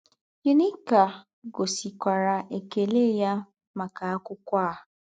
Ẹ́úní́kà gòsìkwàrà èkèlẹ̀ yá màkà ákwụ́kwọ́ à.